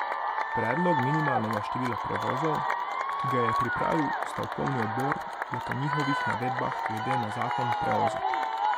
Predlog minimalnega števila prevozov, ki ga je pripravil stavkovni odbor, je po njihovih navedbah glede na zakon preozek.